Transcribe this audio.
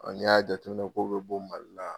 N'i y'a jateminɛ k'o bɛ bɔ Mali la